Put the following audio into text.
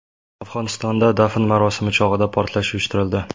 Afg‘onistonda dafn marosimi chog‘ida portlash uyushtirildi.